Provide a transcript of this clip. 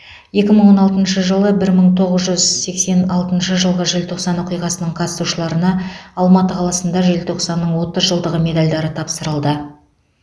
екі мың он алтыншы жылы бір мың тоғыз жүз сексен алтыншы жылғы желтоқсан оқиғасының қатысушыларына алматы қаласында желтоқсанның отыз жылдығы медальдары тапсырылды